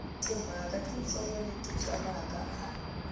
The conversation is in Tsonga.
timhaka titsongo leti twalaka a